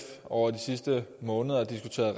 over de sidste måneder diskuteret